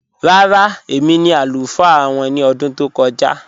Rárá, èmi ni alufaa wọn ni ọdún tó kọ̀ja